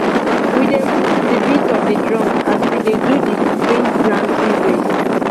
we dey move to the beat of the drums as we dey do the spring planting race